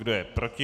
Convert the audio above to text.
Kdo je proti?